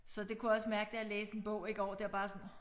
Så det kunne jeg også mærke da jeg læste en bog i går det var bare sådan